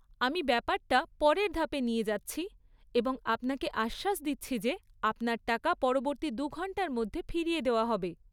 আমি ব্যাপারটা পরের ধাপে নিয়ে যাচ্ছি এবং আপনাকে আশ্বাস দিচ্ছি যে আপনার টাকা পরবর্তী দু ঘণ্টার মধ্যে ফিরিয়ে দেওয়া হবে।